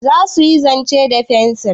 Za su yi zane da fensir?